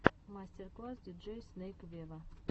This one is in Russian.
мастер класс диджей снейк вево